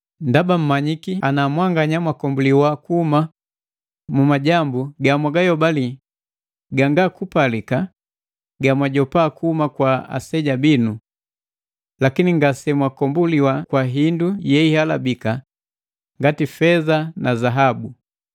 Ndaba mmanyiki ana mwanganya mwakombuliwa kuhuma mu majambu gamwagayobali ganga kupalika gamwajopa kuhuma kwa aseja binu. Lakini ngasemwakombuliwa kwa hindu yehihalabika ngati feza na zaabu,